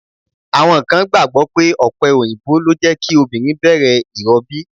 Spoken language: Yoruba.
Àwọn kan gbàgbọ́ pé ọ̀pẹ òyìnbó lè jẹ́ kí obìnrin bẹ̀rẹ̀ ìrọbí.